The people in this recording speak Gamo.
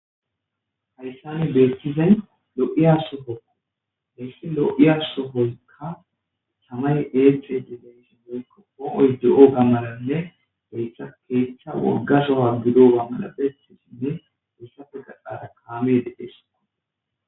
Hayssani beettizay lo7iya so hoko hessi lo7iya so hoykka chamay et di dayisi moykko ooy de7o gammananne beytha keeththa worgashoha gido waa madapetisinne ussafe qaxara kaame dedhesoa.